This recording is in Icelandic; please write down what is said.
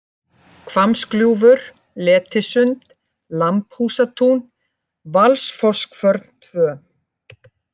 Hvammsgljúfur, Letisund, Lambhúsatún, Valsfosskvörn II